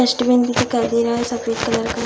Dustbin भी दिखाई दे रहा है सफ़ेद कलर का।